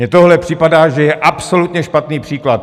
Mně tohle připadá, že je absolutně špatný příklad.